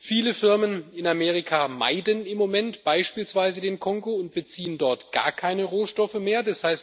Viele Firmen in Amerika meiden im Moment beispielsweise den Kongo und beziehen von dort gar keine Rohstoffe mehr.